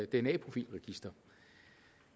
dna profilregister